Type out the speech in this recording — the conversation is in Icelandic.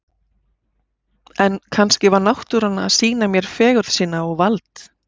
En kannski var náttúran að sýna mér fegurð sína og vald.